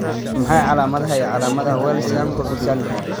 Waa maxay calaamadaha iyo calaamadaha Wells Jankovic syndrome?